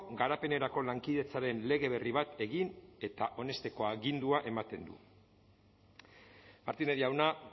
garapenerako lankidetzaren lege berri bat egin eta onesteko agindua ematen dut martínez jauna